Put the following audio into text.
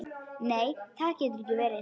Nei það getur ekki verið.